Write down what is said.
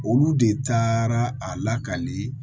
Olu de taara a lakali